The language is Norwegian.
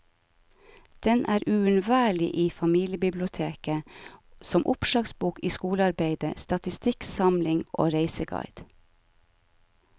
Den er uunnværlig i familiebiblioteket, som oppslagsbok i skolearbeidet, statistikksamling og reiseguide.